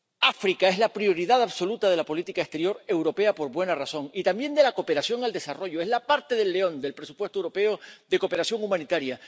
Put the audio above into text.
África es la prioridad absoluta de la política exterior europea por buenas razones, y también de la cooperación al desarrollo es la parte del león del presupuesto europeo de cooperación humanitaria.